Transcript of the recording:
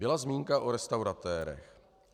Byla zmínka o restauratérech.